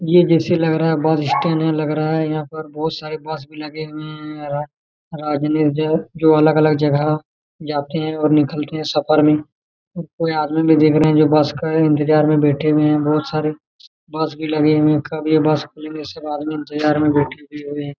ये जैसे लग रहा बस स्टैंड है लग रहा है यहां पे बहुत सारे बस भी लगे हुए है जो अलग अलग जगह जाते है और निकलते है सफर में और कोई आदमी भी देख रहे है जो बस के इंतजार मे बैठे हुए है बहुत सारे बस भी लगे हुए है कब ये बस खुले सब आदमी इंतजार में बैठे हुए हैं।